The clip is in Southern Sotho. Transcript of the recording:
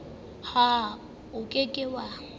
ha o ke ke wa